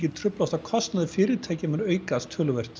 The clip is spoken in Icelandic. truflast og kostnaður fyrirtækja mun aukast töluvert